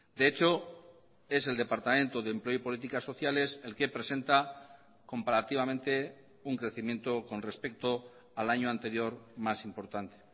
de hecho es el departamento de empleo y políticas sociales el que presenta comparativamente un crecimiento con respecto al año anterior más importante